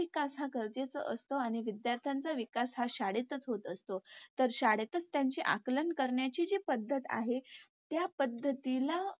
विकास हा गरजेचा असतो आणि विद्यार्थ्यांचा विकास हा शाळेतच होत असतो. तर शाळेतच त्यांची जी आकलन करण्याची पद्धत आहे त्या पद्धतीला